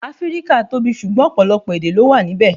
Áfríkà tóbi, sugbọn ọ̀pọ̀lọpọ̀ èdè lọ wà níbè.